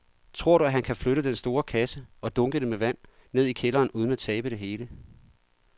Tror du, at han kan flytte den store kasse og dunkene med vand ned i kælderen uden at tabe det hele?